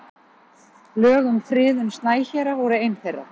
Lög um friðun snæhéra voru ein þeirra.